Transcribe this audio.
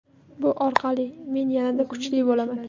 Bu orqali men yanada kuchli bo‘laman.